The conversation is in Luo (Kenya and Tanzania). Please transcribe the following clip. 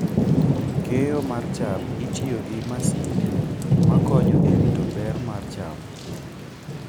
Keyo mar cham itimo gi masinde makonyo e rito ber mar cham.